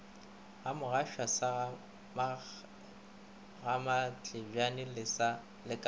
gamogashoa sa gamatlebjane le ka